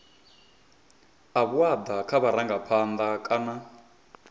a vhuaḓa kha vharangaphanḓa kana